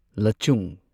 ꯂꯆꯨꯡ